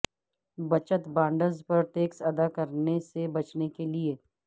بچت بانڈز پر ٹیکس ادا کرنے سے بچنے کے لئے